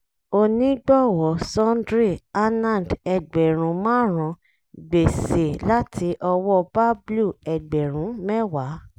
onígbọ̀wọ́ sundry - anand ẹgbẹ̀rún márùn-ún; gbèsè láti ọwọ́ bablu ẹgbẹ̀rún mẹ́wàá